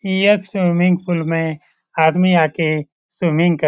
यह swimming pool में आदमी आ के स्विमिंग कर--